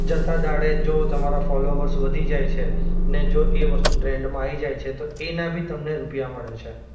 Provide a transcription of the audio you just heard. જતા દાડે જો તમારા ફોલોઅર્સ વધી જાય છે ને જો એ વસ્તુ ટ્રેન્ડમાં આવી જાય છે તો એના ભી તમને રૂપિયા મળે છે.